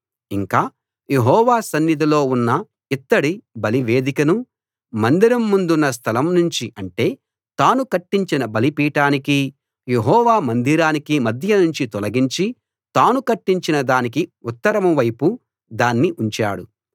ఇంకా యెహోవా సన్నిధిలో ఉన్న ఇత్తడి బలివేదికను మందిరం ముందున్న స్థలం నుంచి అంటే తాను కట్టించిన బలిపీఠానికీ యెహోవా మందిరానికీ మధ్య నుంచి తొలగించి తాను కట్టించిన దానికి ఉత్తరం వైపు దాన్ని ఉంచాడు